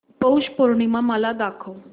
पौष पौर्णिमा मला दाखव